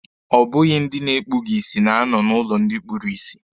Ọ bụghị ndị na-ekpughi isi na-anọ n'ụlọ ndị kpuru isi.